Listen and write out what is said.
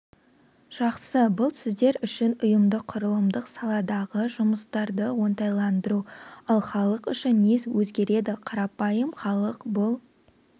жақсы бұл сіздер үшін ұйымдық-құрылымдық саладағы жұмыстарды оңтайландыру ал халық үшін не өзгереді қарапайым халық бұл